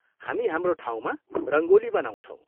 हामी हाम्रो ठाउँमा रङ्गोली बनाउँछौँ।